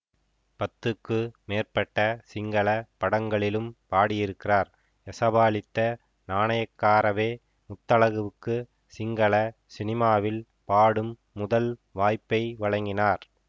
பத்துக்கு மேற்பட்ட சிங்கள படங்களிலும் பாடியிருக்கிறார் யசபாலித்த நாணயக்காரவே முத்தழகுவுக்கு சிங்களச் சினிமாவில் பாடும் முதல் வாய்ப்பை வழங்கினார்